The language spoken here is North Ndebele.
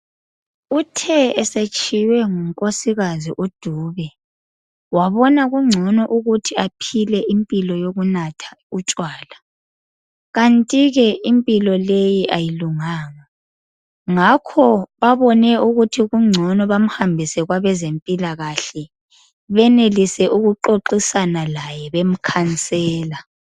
Uthe esetshiywe ngunkosikazi uDube wabona kungcono ukuthi aphile impilo yokunatha utshwala. Kanti ke impilo leyi ayilunganga. Ngakho babone ukuthi kungcono bamhambise kwabezempilakahle benelise ukuxoxisana laye bemkhansela.